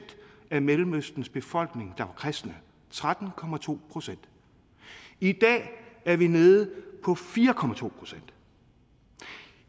af mellemøstens befolkning der var kristne tretten procent i dag er vi nede på fire procent